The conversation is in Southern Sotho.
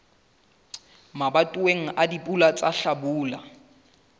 mabatoweng a dipula tsa hlabula